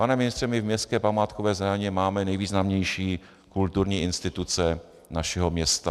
Pane ministře, my v městské památkové zóně máme nejvýznamnější kulturní instituce našeho města.